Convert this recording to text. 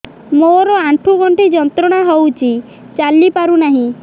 ମୋରୋ ଆଣ୍ଠୁଗଣ୍ଠି ଯନ୍ତ୍ରଣା ହଉଚି ଚାଲିପାରୁନାହିଁ